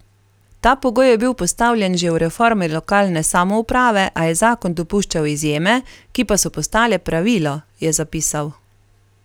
Ta pogoj je bil postavljen že v reformi lokalne samouprave, a je zakon dopuščal izjeme, ki pa so postale pravilo, je zapisal.